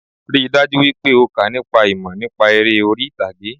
Rí i dájú wípé o kà nípa ìmọ̀ nípa eré orí ìtàgé